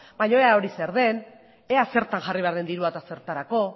baina ea hori zer den ea zertan jarri behar den dirua eta zertarako